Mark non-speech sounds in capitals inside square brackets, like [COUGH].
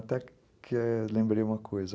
[UNINTELLIGIBLE] lembrei uma coisa.